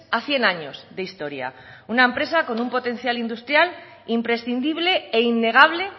a cien años de historia una empresa con un potencial industrial imprescindible e innegable